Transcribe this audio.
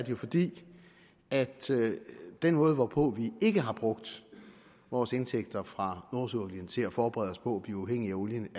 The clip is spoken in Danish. jo fordi den måde hvorpå vi ikke har brugt vores indtægter fra nordsøolien til at forberede os på at blive uafhængige af olien